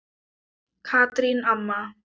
Katrín amma.